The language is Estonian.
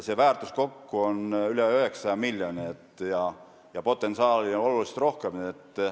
See väärtus kokku on üle 900 miljoni ja potentsiaali on tunduvalt rohkem.